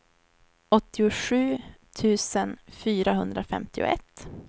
åttiosju tusen fyrahundrafemtioett